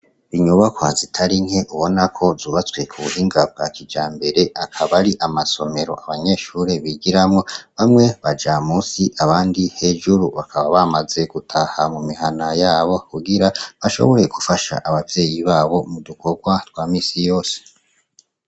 Inyubakwa zitarinke ubonako zubatswe k'ubuhinga bwa kijambere akaba ari amasomero abanyeshure bigiramwo; bamwe baja musi abandi hejuru. Bakaba bamaze gutaha mumihana yabo kugira bashobore gufasha abavyeyi babo m'udukorwa twamisiyose.